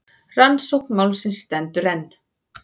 Rannsókn málsins stendur enn.